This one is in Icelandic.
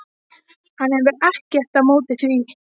Hann hefur ekkert á móti því.